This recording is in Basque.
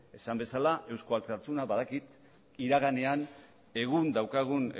esan bezala eusko alkartasuna badakit iraganean egun daukagun